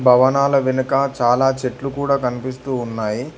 భవనాలు వెనుక చాలా చెట్లు కూడా కనిపిస్తూ ఉన్నాయి.